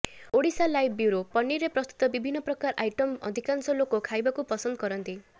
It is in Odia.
ଓଡ଼ିଶାଲାଇଭ୍ ବ୍ୟୁରୋ ପନିରରେ ପ୍ରସ୍ତୁତ ବିଭିନ୍ନ ପ୍ରକାରର ଆଇଟମ୍ ଅଧିକାଂଶ ଲାକ ଖାଇବାକୁ ପସନ୍ଦ କରନ୍ତି